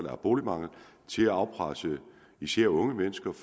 er boligmangel til at afpresse især unge mennesker